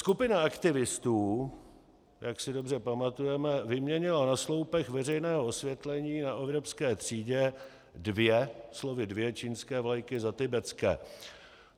Skupina aktivistů, jak si dobře pamatujeme, vyměnila na sloupech veřejného osvětlení na Evropské třídě dvě - slovy dvě - čínské vlajky za tibetské.